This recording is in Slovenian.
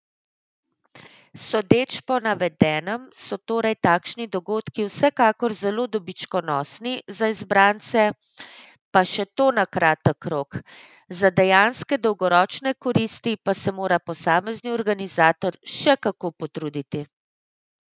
Sodeč po navedenem so torej takšni dogodki vsekakor zelo dobičkonosni za izbrance, pa še to na kratek rok, za dejanske dolgoročne koristi pa se mora posamezni organizator še kako potruditi.